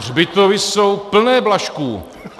Hřbitovy jsou plné Blažků.